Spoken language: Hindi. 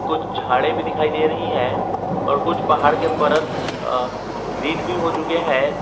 कुछ झाड़ी भी दिखाई दे रही है और कुछ पहाड़ के परत आ ग्रीन भी हो चुके है।